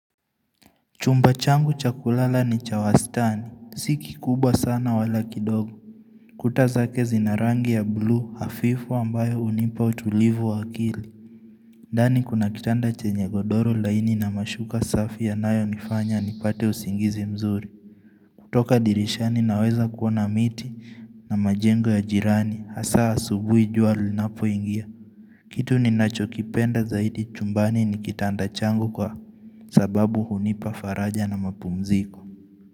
Chumba changu cha kulala ni cha wastani, si kikubwa sana wala kidogo. Kuta zake zina rangi ya blue hafifu ambayo hunipa utulivu wa akili. Ndani kuna kitanda chenye godoro laini na mashuka safi yanayonifanya nipate usingizi mzuri. Toka dirishani naweza kuona miti na majengo ya jirani, hasa asubui jua linapoingia. Kitu ninachokipenda zaidi chumbani ni kitanda changu kwa sababu hunipa faraja na mapumziko.